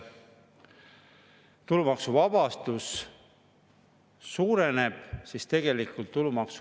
Kui rahanduskomisjonis oli arutelu pankade tulumaksu tõstmine, avansilise tulumaksu tõstmine, siis ma kahel korral küsisin, kas Eesti pankadega on ikkagi räägitud.